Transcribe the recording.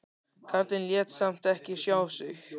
Karlinn lét samt ekki sjá sig.